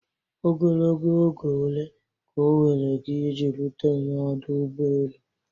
Ogologo oge ole ka oweere gị iji rute n'ọdụ ụgbọ elu?